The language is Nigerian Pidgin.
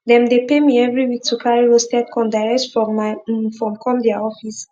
dem dey pay me everi week to carry roasted corn direct from my um form come dia office